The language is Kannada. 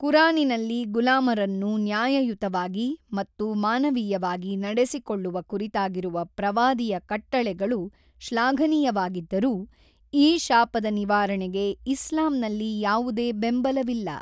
ಕುರಾನಿನಲ್ಲಿ ಗುಲಾಮರನ್ನು ನ್ಯಾಯಯುತವಾಗಿ ಮತ್ತು ಮಾನವೀಯವಾಗಿ ನಡೆಸಿಕೊಳ್ಳುವ ಕುರಿತಾಗಿರುವ ಪ್ರವಾದಿಯ ಕಟ್ಟಳೆಗಳು ಶ್ಲಾಘನೀಯವಾಗಿದ್ದರೂ, ಈ ಶಾಪದ ನಿವಾರಣೆಗೆ ಇಸ್ಲಾಂನಲ್ಲಿ ಯಾವುದೇ ಬೆಂಬಲವಿಲ್ಲ.